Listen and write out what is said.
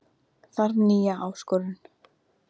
Þarf nýja áskorun